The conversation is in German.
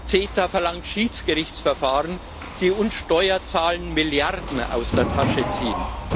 CETA verlangt Schiedsgerichtsverfahren, die uns Steuerzahlern Milliarden aus der Tasche ziehen.